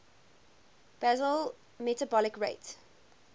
basal metabolic rate